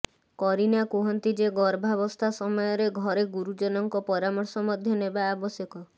କରୀନା କୁହନ୍ତି ଯେ ଗର୍ଭାବସ୍ଥା ସମୟରେ ଘରେ ଗୁରୁଜନଙ୍କ ପରାମର୍ଶ ମଧ୍ୟ ନେବା ଆବଶ୍ୟକ